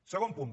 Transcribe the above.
segon punt